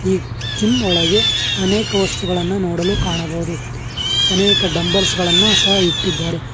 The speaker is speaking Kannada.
ಈ ಜಿಮ್ ಒಳಗೆ ಅನೇಕ ವಸ್ತುಗಳನ್ನ ನೋಡಲು ಕಾಣಬಹುದು ಅನೇಕ ಡಂಬ್ಲೆಸ್ ಗಳನ್ನ ಸಹ ಇಟ್ಟಿದಾರೆ.